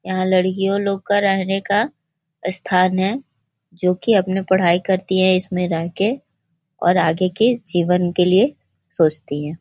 यहाँ लड़कियों लोग का रहने का स्थान है जो कि अपने पढ़ाई करती हैं इसमें रहके और आगे के जीवन के लिए सोचती हैं |